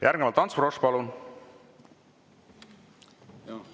Järgnevalt Ants Frosch, palun!